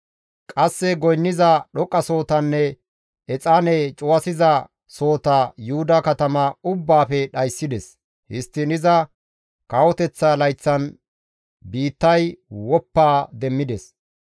Qasse goynniza dhoqqasohotanne exaane cuwasiza sohota Yuhuda katama ubbaafe dhayssides. Histtiin iza kawoteththa layththan biittay woppa demmides.